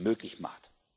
möglich macht.